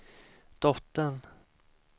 dottern